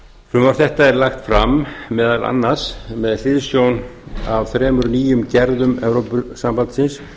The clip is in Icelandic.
frumvarp þetta er lagt fram meðal annars með hliðsjón af þremur nýjum gerðum evrópusambandsins